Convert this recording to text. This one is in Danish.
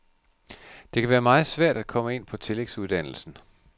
Det kan være meget svært at komme ind på tillægsuddannelsen.